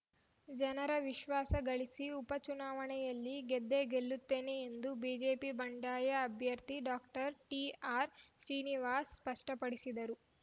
ಜನರ ವಿಶ್ವಾಸ ಗಳಿಸಿ ಉಪ ಚುನಾವಣೆಯಲ್ಲಿ ಗೆದ್ದೇ ಗೆಲ್ಲುತ್ತೇನೆ ಎಂದು ಬಿಜೆಪಿ ಬಂಡಾಯ ಅಭ್ಯರ್ಥಿ ಡಾಕ್ಟರ್ ಟಿಆರ್‌ಸಿನಿವಾಸ್‌ ಸ್ಪಷ್ಟಪಡಿಸಿದರು